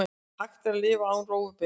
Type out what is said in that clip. Er hægt að lifa án rófubeins?